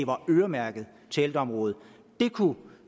var øremærket til ældreområdet